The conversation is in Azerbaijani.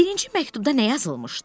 Birinci məktubda nə yazılmışdı?